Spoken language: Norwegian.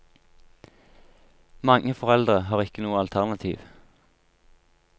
Mange foreldre har ikke noe alternativ.